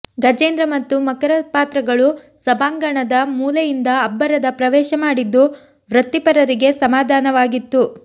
ಗಜೇಂದ್ರ ಮತ್ತು ಮಕರ ಪಾತ್ರಗಳು ಸಭಾಂಗಣದ ಮೂಲೆಯಿಂದ ಅಬ್ಬರದ ಪ್ರವೇಶ ಮಾಡಿದ್ದು ವೃತ್ತಿಪರರಿಗೆ ಸಮಾನವಾಗಿತ್ತು